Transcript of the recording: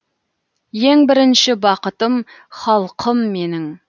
ең бірінші бақытым халқым менің